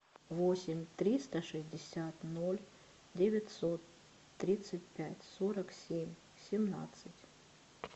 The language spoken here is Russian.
восемь триста шестьдесят ноль девятьсот тридцать пять сорок семь семнадцать